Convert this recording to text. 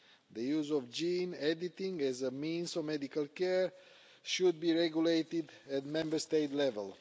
The use of gene editing as a means of medical care should be regulated at Member State level.